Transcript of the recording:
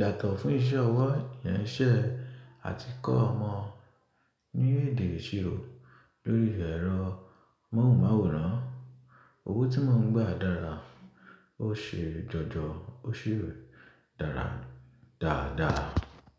yàtọ̀ fún iṣẹ́ ọwọ́ nṣẹ́ àti kó ọmọ ní èdè ìṣirò lórí ẹ̀rọ móhùnmáwòrán. Owó tí mò ń gba dára, ó ṣe jọjọ, ó sì dára dáadáa.